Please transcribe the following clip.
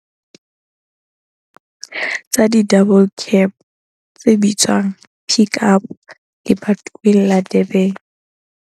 Tsa di-double cab tse bitswang pick-up lebatoweng la Durban.